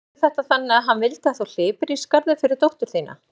Og skildirðu þetta þannig að hann vildi að þú hlypir í skarðið fyrir dóttur þína?